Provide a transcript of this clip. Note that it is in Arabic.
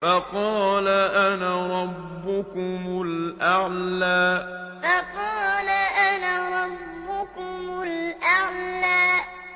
فَقَالَ أَنَا رَبُّكُمُ الْأَعْلَىٰ فَقَالَ أَنَا رَبُّكُمُ الْأَعْلَىٰ